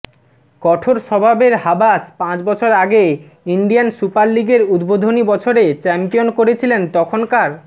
কঠোর স্বভাবের হাবাস পাঁচ বছর আগে ইন্ডিয়ান সুপার লিগের উদ্বোধনী বছরে চ্যাম্পিয়ন করেছিলেন তখনকার